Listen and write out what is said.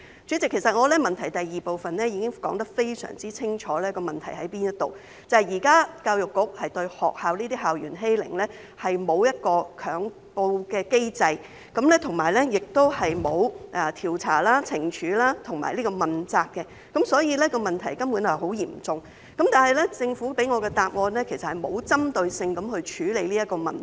主席，其實我在主體質詢第二部分已經非常清楚地指出問題所在，就是現時對校園欺凌，教育局並沒有一個強告機制，亦沒有調查、懲處及問責，所以問題根本是很嚴重的，但政府給我的答覆，實際上並無針對性地處理這個問題。